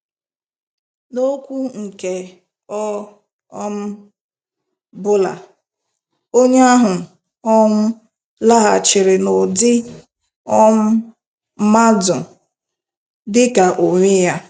N'okwu nke ọ um bụla, onye ahụ um laghachiri n'ụdị um mmadụ - dị ka onwe ya.